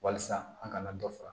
Walasa an kana dɔ fara